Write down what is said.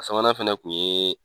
A sabanan fɛnɛ kun ye